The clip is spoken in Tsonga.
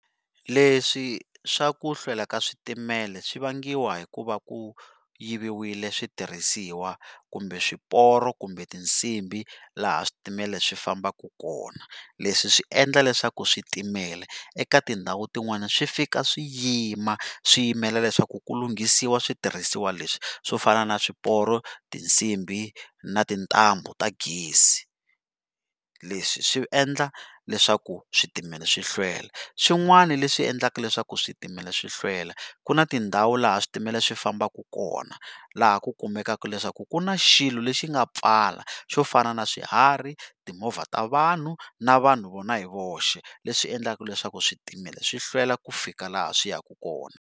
Leswi swa kuhlwela ka switimela swi vangiwa hikuva ku yiviwile switirhisiwa kumbe swiporo kumbe tinsimbi laha switimela swi fambaka kona, leswi swi endla leswaku switimela eka tindhawu tin'wani swi fika swi yima swi yimela leswaku ku lunghisiwa switirhisiwa leswi swo fana na swiporo, tinsimbi na tintambu ta gezi. Leswi swi endla leswaku switimela swi hlwela swin'wana leswi endlaka leswaku switimela swi hlwela ku na tindhawu laha switimela swi fambaka kona laha ku kumekaka leswaku ku na xilo le xi nga pfala xo fana na swiharhi, timovha ta vanhu na vanhu vona hi voxe leswi endlaku leswaku switimela swi hlwela ku fika laha swi yaka kona.